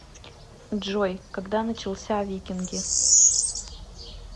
джой когда начался викинги